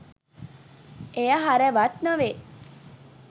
එය හරවත් නොවේ